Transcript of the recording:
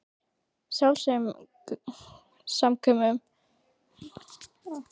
Sjálfsaumkun og bölmóður voru viðlag þessa napra haustdags.